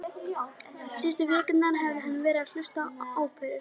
Síðustu vikurnar hafði hann verið að hlusta á óperu